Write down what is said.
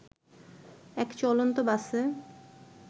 এক চলন্ত বাসে